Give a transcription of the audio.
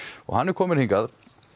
hann er kominn hingað